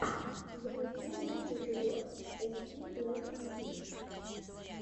запусти лучший эпизод эстиблэкэсти